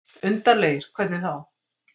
Undarlegir. hvernig þá?